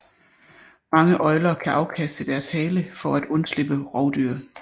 Mange øgler kan afkaste deres hale for at undslippe rovdyr